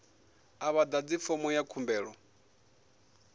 a vha ḓadzi fomo ya khumbelo